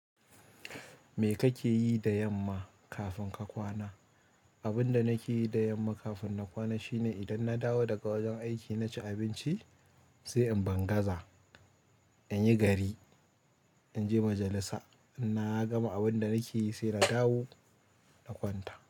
Me kake yi da yamma kafin ka kwana? Abinda nakeyi da yamma kafin na kwana shine idan nadawo daga wajen aiki naci abinci sai in bangaza inyi gari inje majalissa na gama abin da nake yi sai na dawo na kwanta.